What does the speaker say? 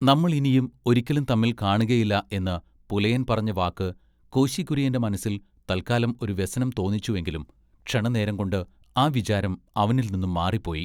നമ്മൾ ഇനിയും ഒരിക്കലും തമ്മിൽ കാണുകേലാ എന്ന് പുലയൻ പറഞ്ഞ വാക്ക് കോശി കുര്യന്റെ മനസ്സിൽ തൽക്കാലം ഒരു വ്യസനം തോന്നിച്ചു എങ്കിലും ക്ഷണനേരം കൊണ്ട് ആ വിചാരം അവനിൽനിന്ന് മാറിപ്പോയി.